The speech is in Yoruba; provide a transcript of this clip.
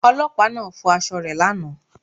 Ọlọ́pàá náà fọ aṣọ rẹ̀ lánàá